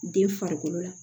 Den farikolo la